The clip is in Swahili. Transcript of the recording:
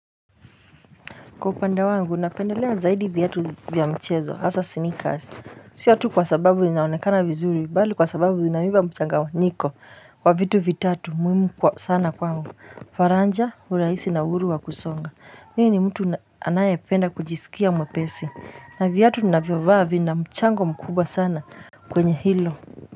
Kwa upande wangu napendelea zaidi viatu vya mchezo hasa sneakers Sio tu kwa sababu vinaonekana vizuri bali kwa sababu vinanipa mchanganyiko wa vitu vitatu muhimu kwa sana kwangu faraja urahisi na uhuru wa kusonga mimi ni mtu anayependa kujisikia mwepesi na viatu ninavyovaa vina mchango mkubwa sana kwenye hilo.